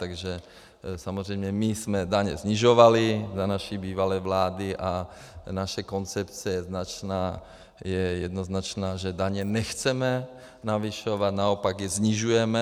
Takže samozřejmě my jsme daň snižovali za naší bývalé vlády a naše koncepce je jednoznačná, že daně nechceme navyšovat, naopak je snižujeme.